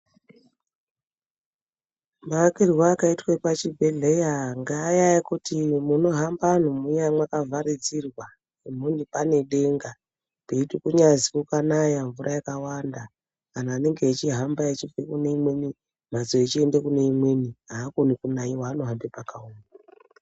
Maakirwe akaitwe pachibhedhleya ngeaya ekuti munohamba anhu muya mwakavharidzirwa. Panedenga peiti kunyazwi kukanaya mvura yakawanda anhu anenge echihamba echibve kune imweni mhatso echiende kuneimwe haakoni kunaiwa, anohambe pakaoma.